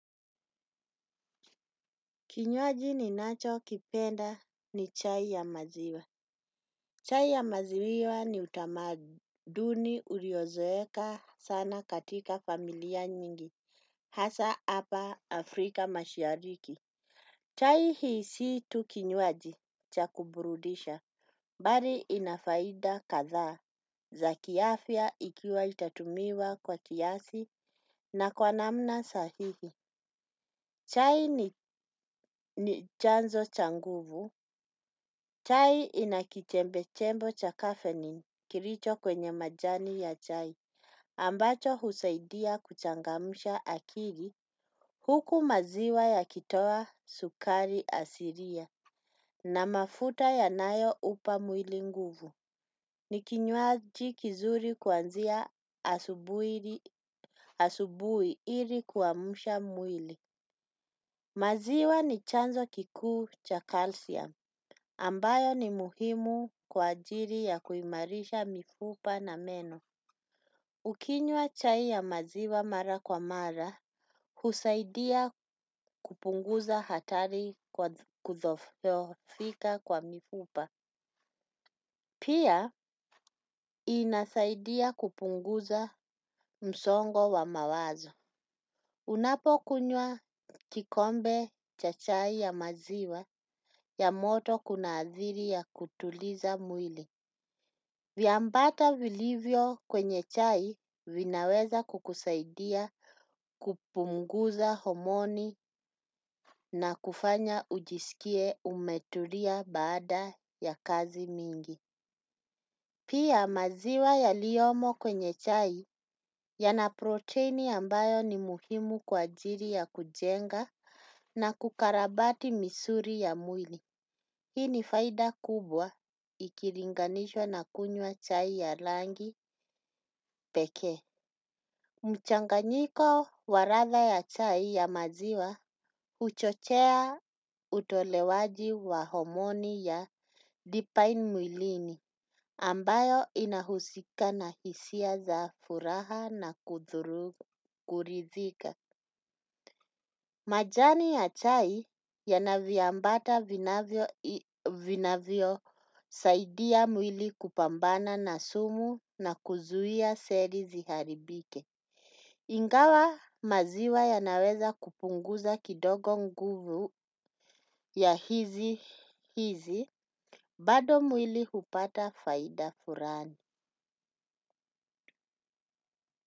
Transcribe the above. Kinywaji ninachokipenda ni chai ya maziwa. Chai ya maziwa ni utamaduni uliozoeka sana katika familia nyingi. Haswa hapa Afrika mashariki. Chai hii si tu kinywaji cha kuburudisha bali ina faida kadhaa za kiafya ikiwa itatumiwa kwa kiasi na kwa namna sahihi chai ni chanzo cha nguvu. Chai inakichembe chembo cha kafeini kilicho kwenye majani ya chai. Ambacho husaidia kuchangamsha akiri. Huku maziwa yakitoa sukari asiria na mafuta ya nayo upa mwili nguvu. Ni kinywaji kizuri kuanzia asubuhi ili kuamsha mwili maziwa ni chanzo kikuu cha calcium ambayo ni muhimu kwa kuimarisha mifupa na meno ukinywa chai ya maziwa mara kwa mara, husaidia kupunguza hatari kwa kudhoofika kwa mifupa. Pia, inasaidia kupunguza msongo wa mawazo. Unapokunywa kikombe cha chai ya maziwa ya moto kuna adhiri ya kutuliza mwili. Vyambata vilivyo kwenye chai vinaweza kukusaidia kupunguza homoni na kufanya ujisikie umetulia baada ya kazi mingi. Pia maziwa yaliyomo kwenye chai yana proteini ambayo ni muhimu kwa ajili ya kujenga na kukarabati misuli ya mwili. Hii ni faida kubwa ikilinganishwa na kunywa chai ya langi pekee. Mchanganyiko wa ladha ya chai ya maziwa huchochea utolewaji wa homoni ya dipain mwilini ambayo inahusika na hisia za furaha na kuridhika. Majani ya chai yana viambata vinavyo saidia mwili kupambana na sumu na kuzuia celi ziharibike. Ingawa maziwa yanaweza kupunguza kidogo nguvu ya hizi hizi bado mwili hupata faida furani.